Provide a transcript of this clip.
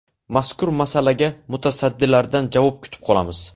Mazkur masalaga mutasaddilardan javob kutib qolamiz.